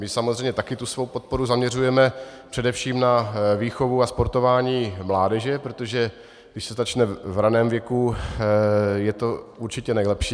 My samozřejmě také tu svou podporu zaměřujeme především na výchovu a sportování mládeže, protože když se začne v raném věku, je to určitě nejlepší.